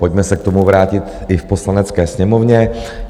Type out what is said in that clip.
Pojďme se k tomu vrátit i v Poslanecké sněmovně.